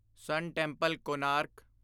ਸਨ temple, Konark